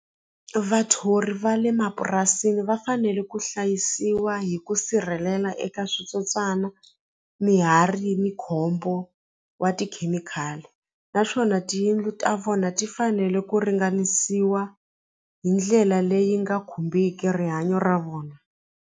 Vathori va le mapurasini va fanele ku hlayisiwa hi ku sirhelela eka switsotswana ni khombo wa tikhemikhali naswona tiyindlu ta vona ti fanele ku ringanisiwa hi ndlela leyi nga khumbeki rihanyo ra vona.